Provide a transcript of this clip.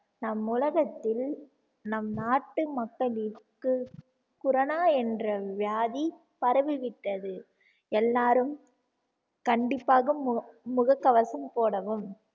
நம் உலகத்தில் நம் நாட்டு மக்களிற்கு corona என்ற வியாதி பரவி விட்டது எல்லாரும் கண்டிப்பாக முகக்கவசம் போடவும்